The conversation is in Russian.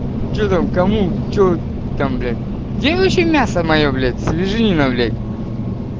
что там кому что там блять где вообще мясо моё блять свеженина блять